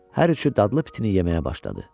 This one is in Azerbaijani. Hər üçü dadlı pitini yeməyə başladı.